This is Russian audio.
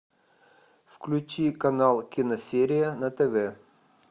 включи канал киносерия на тв